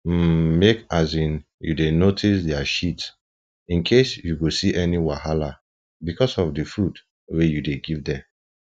um make um u dey notice their shit incase u go see any wahala because of the food wa u dey give them